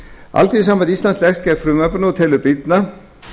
alþýðusamband íslands leggst gegn frumvarpinu og telur brýnna